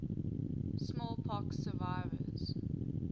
smallpox survivors